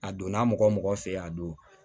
A donna mɔgɔ mɔgɔ fɛ yen a don